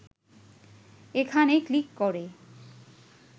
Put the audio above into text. এখানে ক্লিক করে